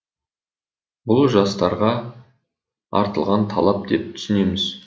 бұл жастарға артылған талап деп түсінеміз